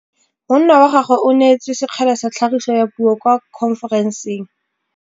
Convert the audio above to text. Monna wa gagwe o neetswe sekgele sa tlhagisô ya puo kwa khonferenseng.